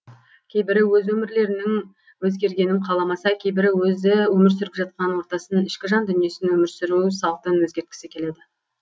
кейбірі өз өмірлерінің өзгергенін қаламаса кейбірі өзі өмір сүріп жатқан ортасын ішкі жан дүниесін өмір сүру салтын өзгерткісі келеді